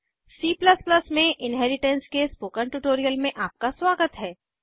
C में inheritance के spoken tutorial में आपका स्वागत है